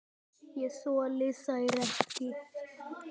Ég þoli þær ekki.